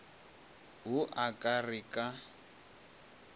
wo a ka re ka